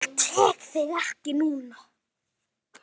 Ég tek þig ekki núna.